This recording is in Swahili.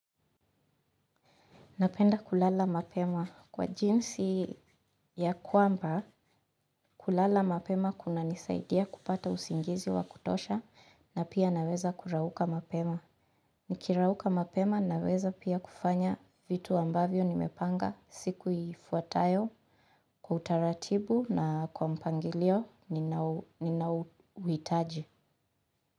Napenda kulala mapema kwa jinsi ya kwamba kulala mapema kunanisaidia kupata usingizi wa kutosha na pia naweza kurauka mapema. Nikirauka mapema naweza pia kufanya vitu ambavyo nimepanga siku ifuatayo kwa utaratibu na kwa mpangilio ninao uhitaji.